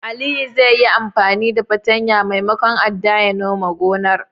Aliyu zai yi anfani da fartanyar maimakon adda ya nome gonar.